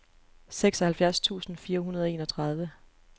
seksoghalvfjerds tusind fire hundrede og enogtredive